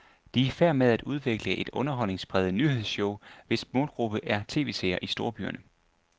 De er i færd med at udvikle et underholdningspræget nyhedsshow, hvis målgruppe er tv-seerne i storbyerne.